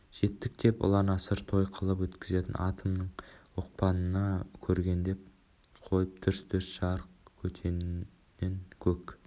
жеттік деп ұланасыр той қылып өткізетін атомның оқпанына көгендеп қойып дүрс-дүрс жарып көтеннен көк